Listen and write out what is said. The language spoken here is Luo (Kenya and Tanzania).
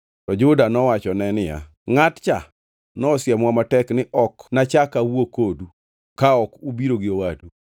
To Juda nowachone niya, “Ngʼat cha nosiemowa matek ni, ‘Ok nachak awuo kodu ka ok ubiro gi owadu.’